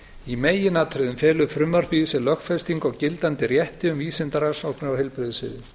í meginatriðum felur frumvarpið í sér lögfestingu á gildandi rétti um vísindarannsóknir á heilbrigðissviði